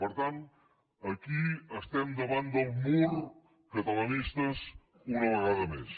per tant aquí estem davant del mur catalanistes una vegada més